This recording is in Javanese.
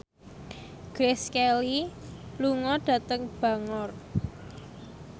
Grace Kelly lunga dhateng Bangor